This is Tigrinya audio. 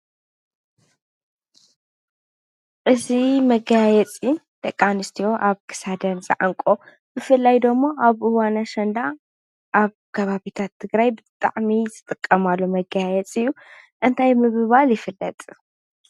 እዚ መገያየፂ ደቂ ኣነስትዮ ኣብ ክሳደን ዝዓንቅኦ ብፍላይ ደሞ ኣብ እዋን ኣሸንዳ ኣብ ከባቢታት ትግራይ ብጣዕሚ ዝጥቀማሉ መገያየፂ እዩ፡፡ እንታይ ብምባል ይፍለጥ?